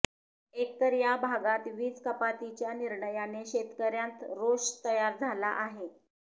एकतर या भागात वीज कपातीच्या निर्णयाने शेतकर्यांत रोष तयार झाला आहे